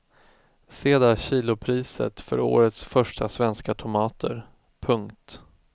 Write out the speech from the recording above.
Se där kilopriset för årets första svenska tomater. punkt